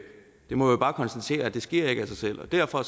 må bare konstatere at det sker ikke af sig selv og derfor